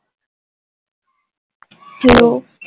Hello